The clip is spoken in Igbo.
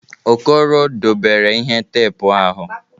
Okoro dobere ihe teepu ahụ.